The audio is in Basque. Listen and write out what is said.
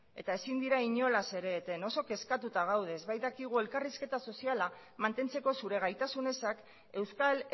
eta ezin dira inolaz ere eten oso kezkatuta gaude ez bait dakigu elkarrizketa soziala mantentzeko zure gaitasun ezak euskal